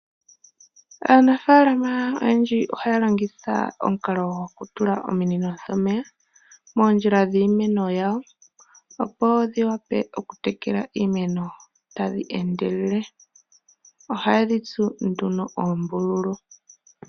Aanafaalama oyendji ohaya longitha omukalo gokutula ominino dhomeya moondjila dhiimeno yayo opo dhiwape okutekela iimeno tadhi endelele. Ohaye dhitsu oombululu.